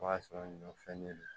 O y'a sɔrɔ ɲɔ fɛn de don